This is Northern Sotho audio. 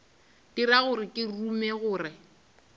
dira gore ke rume gore